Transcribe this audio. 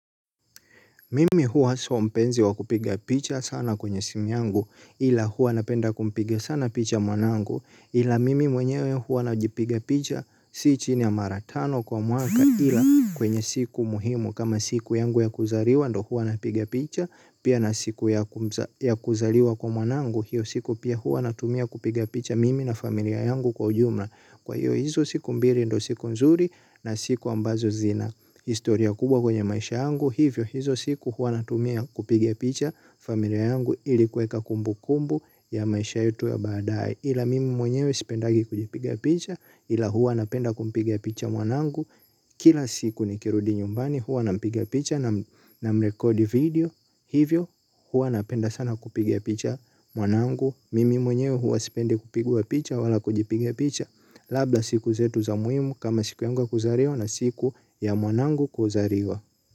Mimi huwa sio mpenzi wa kupiga picha sana kwenye simu yangu ila huwa napenda kumpiga sana picha mwanangu ila mimi mwenyewe hua najipiga picha si chini ya mara tano kwa mwaka ila kwenye siku muhimu kama siku yangu ya kuzariwa ndo hua napiga picha pia na siku ya kuzariwa kwa mwanangu hiyo siku pia hua natumia kupiga picha mimi na familia yangu kwa ujumla. Kwa hiyo hizo siku mbili ndo siku nzuri na siku ambazo zina historia kubwa kwenye maisha yangu hivyo hizo siku huwa natumia kupiga picha familia yangu ili kuweka kumbukumbu ya maisha yetu ya baadaye ila mimi mwenyewe sipendagi kujipiga picha ila huwa napenda kumpiga picha mwanangu kila siku nikirudi nyumbani hua nampiga picha namrekodi video hivyo huwa napenda sana kupiga picha mwanangu. Mimi mwenyewe huwa sipendi kupigwa picha wala kujipiga picha. Labda siku zetu za muhimu kama siku yangu ya kuzariwa na siku ya mwanangu kuzariwa.